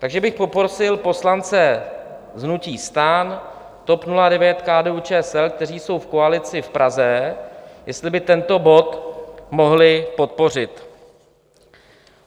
Takže bych poprosil poslance hnutí STAN, TOP 09, KDU-ČSL, kteří jsou v koalici v Praze, jestli by tento bod mohli podpořit.